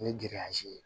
Ni ye